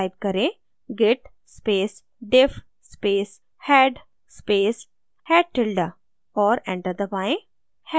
type करें: git space diff space head space head tilde और enter दबाएँ